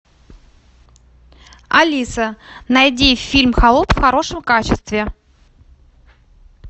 алиса найди фильм холоп в хорошем качестве